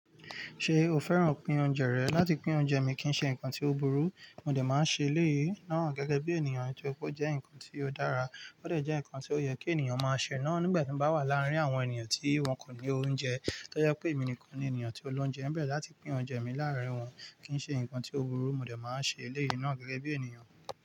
Ṣé o fẹ́ràn pín oúnjẹ rẹ? Láti pín oúnjẹ mi kì ń ṣe nǹkan tí ó burú, mo dè máa n ṣe eléyìí náà gẹ́gẹ́ bí ènìyàn torípé ó jẹ́ nǹkan tí ó dára. Ó dè jẹ́ nǹkan tí ó yẹ kí ènìyàn máa ṣe náà nígbà tí n bá wà láàrin àwọn ènìyàn tí wọ́n kò ní oúnjẹ. To je pé emi nìkan ni ènìyàn tí ó lóúnjẹ, ń bẹ̀ láti pín oúnjẹ mi láàrin wọn kì ń ṣe nǹkan tí ó burú, mo dè máa n ṣe eléyìí náà gẹ́gẹ́ bí ènìyàn.